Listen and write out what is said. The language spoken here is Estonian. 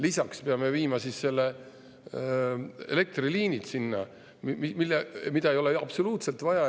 Lisaks peame viima sinna selle elektriliini, mida ei ole absoluutselt vaja.